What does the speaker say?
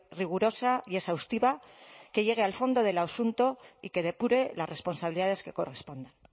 rigurosa y exhaustiva que llegue al fondo del asunto y que depure las responsabilidades que correspondan